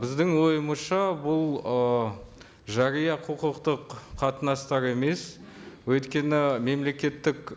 біздің ойымызша бұл ы жария құқықтық қатынастар емес өйткені мемлекеттік